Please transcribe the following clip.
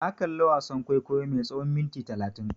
Na kalla wasan kwaikwayo mai tsawan minti talatin.